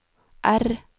R